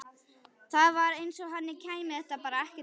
Það var eins og henni kæmi þetta bara ekkert við.